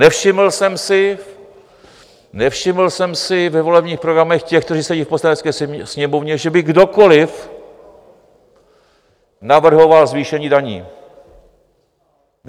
Nevšiml jsem si, nevšiml jsem si ve volebních programech těch, kteří sedí v Poslanecké sněmovně, že by kdokoliv navrhoval zvýšení daní.